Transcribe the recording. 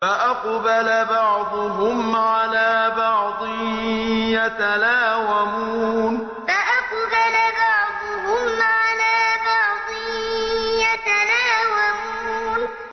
فَأَقْبَلَ بَعْضُهُمْ عَلَىٰ بَعْضٍ يَتَلَاوَمُونَ فَأَقْبَلَ بَعْضُهُمْ عَلَىٰ بَعْضٍ يَتَلَاوَمُونَ